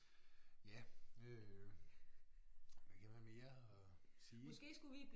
Ja øh ja hvad mere at sige